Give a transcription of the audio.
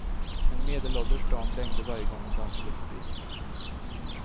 En medelålders dam blängde varje gång hon dansade förbi.